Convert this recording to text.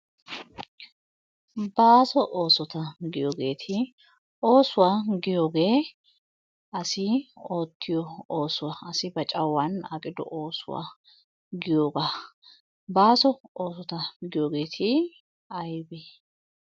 Baaso oosota giyoogeeti oosuwa giyoogee asi oottiyo oosuwa asi ba cawan aqido oosuwa giyoogaa. Baaso oosota giyoogeeti aybee?